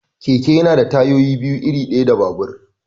Keke yana da tayoyi biyu, iri ɗaya da babur.